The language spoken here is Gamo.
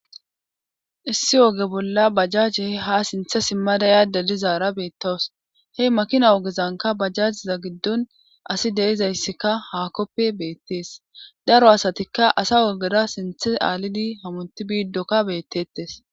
issi oge bolla bajjaje ha sinthe simmadaya da lizaara beettawus he makina wogezanka bajjajiza giddon asi deizayssika haakoppe beettees daro asatikka asa ogera sinthe aalidi hamunti biiddokka beettettes